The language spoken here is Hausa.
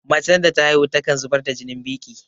Macen da ta haihu takan zubar da jinin biƙi